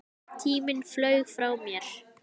Tíminn flaug frá mér.